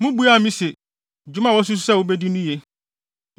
Mubuaa me se, “Dwuma a woasusuw sɛ wubedi no ye.”